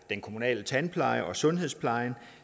den kommunale tandpleje og sundhedsplejen